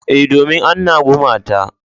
E, domin anna gumata.